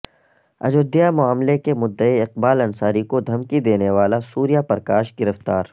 اجودھیا معاملہ کے مدعی اقبال انصاری کو دھمکی دینے والا سوریہ پرکاش گرفتار